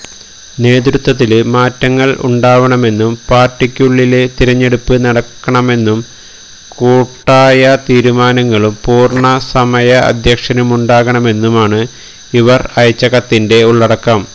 നേതൃത്വത്തില് മാറ്റങ്ങള് ഉണ്ടാവണമെന്നും പാര്ട്ടിക്കുള്ളില് തിരഞ്ഞെടുപ്പ് നടക്കണമമെന്നും കൂട്ടായാ തീരുമാനങ്ങളും പൂര്ണ്ണ സമയ അധ്യക്ഷനുമുണ്ടകണമെന്നുമാണ് ഇവര് അയച്ച കത്തിന്റെ ഉള്ളടക്കം